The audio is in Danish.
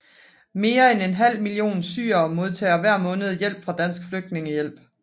Mere end en halv million syrere modtager hver måned hjælp fra Dansk Flygtningehjælp